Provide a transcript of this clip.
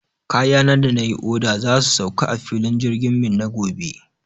Kayana da na yi oda za su sauka a filin jirgin Minna gobe.